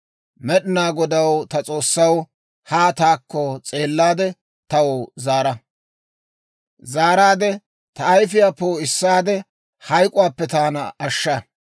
Med'inaa Godaw ta S'oossaw, haa taakko s'eellaade, taw zaara. Ta ayifiyaa poo'issaade, hayk'k'uwaappe taana ashsha.